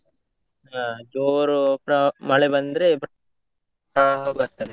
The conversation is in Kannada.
ಹಾ ಜೋರು ಮಳೆ ಬಂದ್ರೆ ಪ್ರವಾಹ ಬರ್ತದೆ.